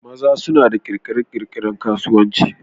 maza suna da kirkire-kirkiren kasuwanci